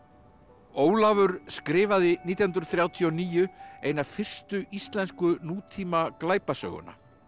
Ólafur skrifaði nítján hundruð þrjátíu og níu eina fyrstu íslensku nútíma glæpasöguna